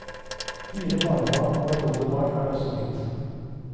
Fire barnebarn og et oldebarn er det også blitt.